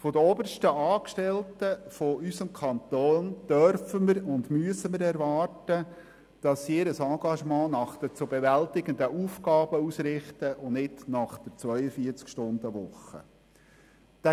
Von den obersten Angestellten unseres Kantons dürfen und müssen wir erwarten, dass sie ihr Engagement nach den zu bewältigenden Aufgaben und nicht nach der 42-Stunden-Woche ausrichten.